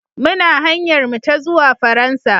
Muna hanyar mu ta zuwa Faransa.